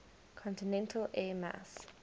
continental air mass